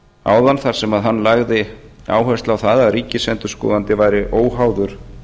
áðan þar sem hann lagði áherslu á að ríkisendurskoðandi væri óháður